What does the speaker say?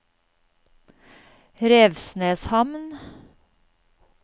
Revsneshamn